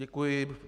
Děkuji.